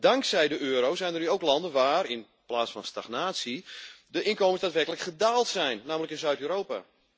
Dankzij de euro zijn er nu ook landen waar, in plaats van stagnatie, de inkomens daadwerkelijk gedaald zijn, namelijk in Zuid Europa.